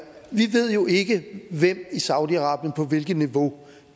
vi ved jo ikke af hvem i saudi arabien og på hvilket niveau